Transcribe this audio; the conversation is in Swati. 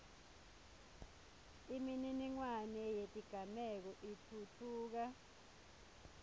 imininingwane yetigameko itfutfuka